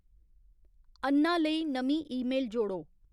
अन्ना लेई नमीं ईमेल जोड़ो